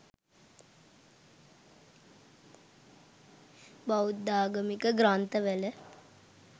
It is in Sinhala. බෞද්ධාගමික ග්‍රන්ථවල